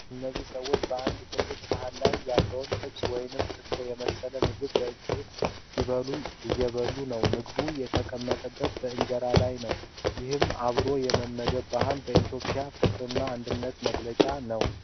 እነዚህ ሰዎች በአንድ ትልቅ ሰሃን ላይ ያለውን ጥብስ ወይም ክትፎ የመሰለ ምግብ በእጅ ሲበሉ እየበሉ ነው ። ምግቡ የተቀመጠው በእንጀራ ላይ ነው ። ይህ አብሮ የመመገብ ባህል በኢትዮጵያ ፍቅርና አንድነት መገለጫ ነው።